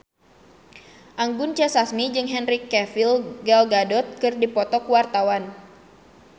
Anggun C. Sasmi jeung Henry Cavill Gal Gadot keur dipoto ku wartawan